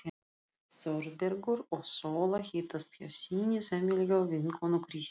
Þórbergur og Sóla hittast hjá sinni sameiginlegu vinkonu, Kristínu.